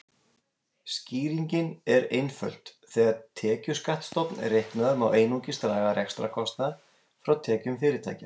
Skýringin er einföld: Þegar tekjuskattsstofn er reiknaður má einungis draga rekstrarkostnað frá tekjum fyrirtækja.